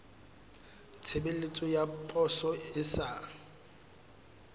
tshebeletso ya poso e sa